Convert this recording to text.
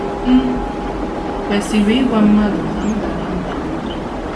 M̀ Kwesịrị Ịgwa Mmadụ na M Dara Mbà n’Obi? ”